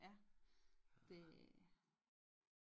Ja det